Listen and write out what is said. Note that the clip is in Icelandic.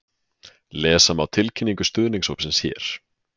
Lesa má tilkynningu stuðningshópsins hér